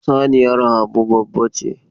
Saniyar Habu babbace.